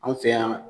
Anw fɛ yan